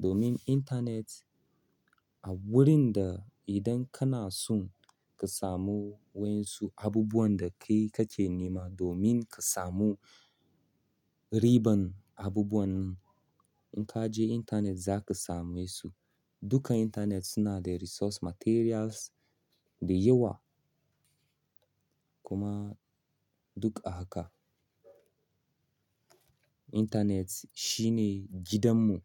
Domin intanet a wurin da idan kana so ka samu waƴansu abubuwan da kai kake nema domin ka samu riban abubuwan nan in ka je intanet za ka same su. Dukan intanet suna da resource materials da yawa. Kuma duk a haka. Intanet shine gidanmu.